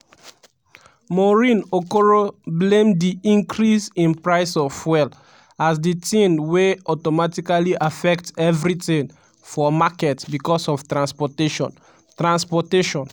maureen okoro blame di increase in price of fuel as di tin wey "automatically affect evritin" for market becos of transportation. transportation.